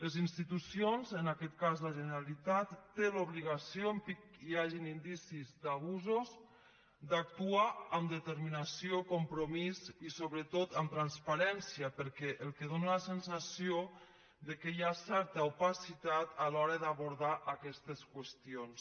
les institucions en aquest cas la generalitat té l’obligació en pic hi hagin indicis d’abusos d’actuar amb determinació compromís i sobretot amb transparència perquè el que dóna la sensació és que hi ha certa opacitat a l’hora d’abordar aquestes qüestions